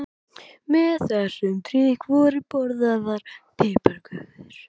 Með þessum drykk voru borðaðar piparkökur.